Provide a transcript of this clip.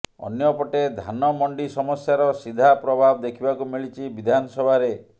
ଅନ୍ୟପଟେ ଧାନ ମଣ୍ଡି ସମସ୍ୟାର ସିଧା ପ୍ରଭାବ ଦେଖିବାକୁ ମିଳିଛି ବିଧାନସଭାରେ